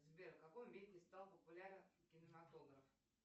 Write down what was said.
сбер в каком веке стал популярен кинематограф